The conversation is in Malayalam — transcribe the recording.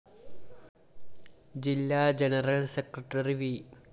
ജില്ലാ ജനറൽ സെക്രട്ടറി വി